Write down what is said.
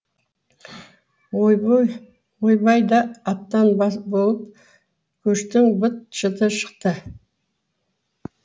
ойбай да аттан болып көштің быт шыты шықты